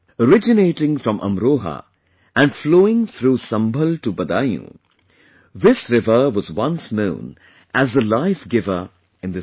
Originating from Amroha and flowing through Sambhal to Badaun, this river was once known as the life giver in this region